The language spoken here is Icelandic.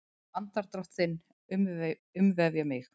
Andardrátt þinn umvefja mig.